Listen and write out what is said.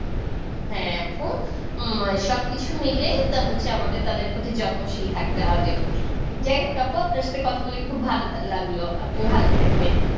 হ্যাঁ আপু হম সবকিছু মিলেই এটা হচ্ছে আমাদের তাদের প্রতি যত্নশীল থাকতে হবে যাই হোক আপু আপনার সঙ্গে কথা বলে ভালো লাগলো আপনি ভালো থাকবেন